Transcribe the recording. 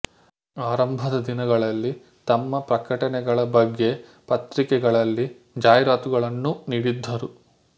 ಆರಂಭದ ದಿನಗಳಲ್ಲಿ ತಮ್ಮ ಪ್ರಕಟನೆಗಳ ಬಗ್ಗೆ ಪತ್ರಿಕೆಗಳಲ್ಲಿ ಜಾಹೀರಾತುಗಳನ್ನೂ ನೀಡಿದ್ದರು